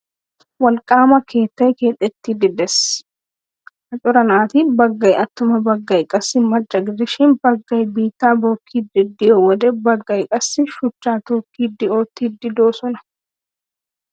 Wolqqaama keettay keexettiiddi de'ees. Ha cora naati baggay attuma baggay qassi macca gidishin baggay biittaa bookkiiddi de'iyo wode baggay qassi shuchchaa tookkidi oottiiddi de'oosona.